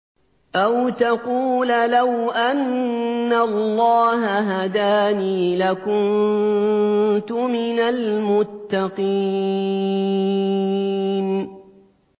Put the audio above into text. أَوْ تَقُولَ لَوْ أَنَّ اللَّهَ هَدَانِي لَكُنتُ مِنَ الْمُتَّقِينَ